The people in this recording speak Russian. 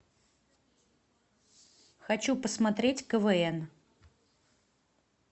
хочу посмотреть квн